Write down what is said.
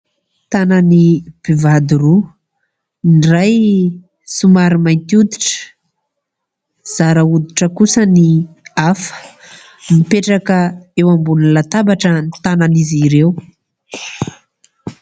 Tanan'ny mpivady roa. Ny iray somary mainty hoditra, zara hoditra kosa ny hafa. Mipetraka eo ambonin'ny latabatra ny tanan'izy ireo.